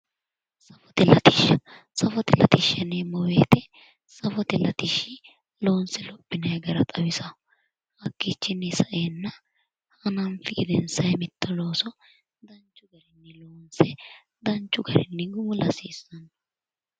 Safote latishsha safote latishsha yineemmo woyiite safote latishshi loonse lophinayi gara xawisanno hakkiichinni saeenna hananfi gedensaa mitto looso danchu garinni gumula hasiissanno.